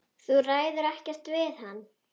Þú ræður ekkert við hann.